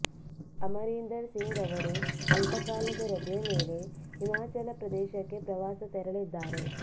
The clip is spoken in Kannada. ಅಮರೀಂದರ್ ಸಿಂಗ್ ಅವರು ಅಲ್ಪ ಕಾಲದ ರಜೆಯ ಮೇಲೆ ಹಿಮಾಚಲ ಪ್ರದೇಶಕ್ಕೆ ಪ್ರವಾಸ ತೆರಳಿದ್ದಾರೆ